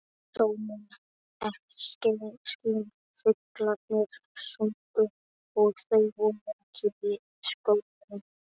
Sólin skein, fuglarnir sungu og þau voru ein í skóginum.